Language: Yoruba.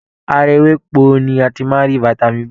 Ara ewéko ni a ti máá ń rí Vitamin B.